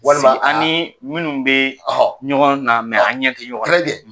Walima ani minnu bɛ ɲɔgɔn na an ɲɛ tɛ ɲɔgɔn na